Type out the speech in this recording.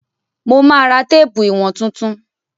Mo ma ra téèpù ìwọ̀n tuntun.